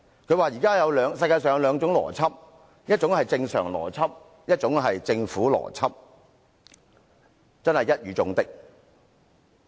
他說現時世上有兩種邏輯，一種是正常邏輯，另一種是政府邏輯，真是一語中的。